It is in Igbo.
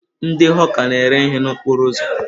Ndị hawka na-ere ihe n'okporo ụzọ.